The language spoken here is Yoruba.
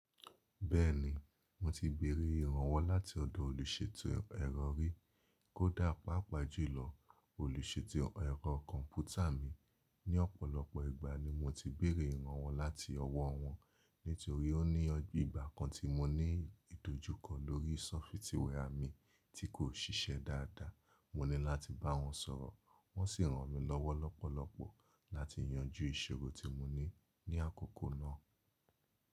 Bẹ́ẹ̀ni, mo ti béèrè ìrànwọ́ láti ọ̀dọ̀ olùṣètò ẹ̀rọ rí, kódà papá jùlọ olùṣètò ẹ̀rọ kọ̀m̀pútà mi. Ni ọ̀pọ̀lọpọ̀ ìgbà ni mo ti béèrè ìrànwọ́ láti ọwọ́ wọn. Nítorí pé ní ìgbà kan tí mo ní ìdojúkọ lórí sọfítìwẹ́à mi tí kò ṣíṣẹ́ dáadáa, mo ní láti bá wọn sọ̀rọ̀, wọ́n sì ran mi lọ́wọ́ lọ́pọ̀lọpọ̀ láti yanjú ìṣòro tí mo ní ní àkókò náà.